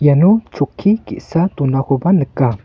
iano chokki ge·sa donakoba nika.